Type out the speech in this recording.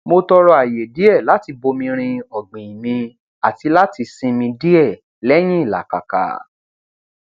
mo tọrọ àyè díẹ láti bomirin ọgbìn mi àti láti sinmi díẹ lẹyìn ìlàkàka